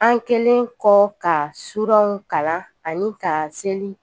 An kɛlen kɔ ka suranw kalan ani ka seli